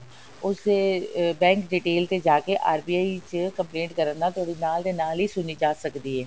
ਉਸਦੇ bank detail ਤੇ ਜਾਕੇ RBI ਚ complaint ਕਰਨ ਨਾਲ ਤੁਹਾਡੀ ਨਾਲ ਦੀ ਨਾਲ ਸੁਣੀ ਜਾ ਸਕਦੀ ਹੈ